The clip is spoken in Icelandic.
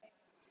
Og hýdd.